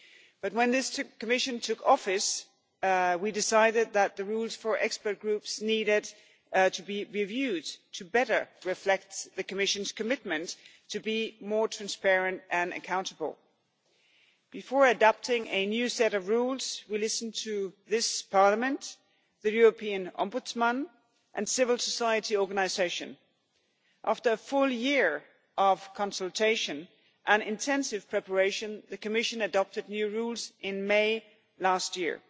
But when this Commission took office we decided that the rules for expert groups needed to be reviewed so as to better reflect the Commission's commitment to be more transparent and accountable. Before adopting a new set of rules, we listened to this Parliament, the European Ombudsman and civil society organisations. After a full year of consultation and intensive preparation the Commission adopted new rules in May last year.